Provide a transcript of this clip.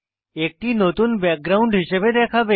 একটি নতুন ব্যাকগ্রাউন্ড হিসাবে দেখাবে